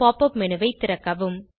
pop up menu ஐ திறக்கவும்